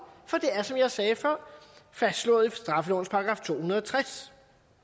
for det er som jeg sagde før fastslået i straffelovens § to hundrede og tres